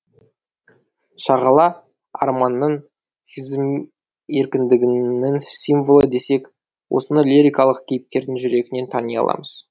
шағала арманның сезім еркіндігінің символы десек осыны лирикалық кейіпкердің жүрегінен тани аламыз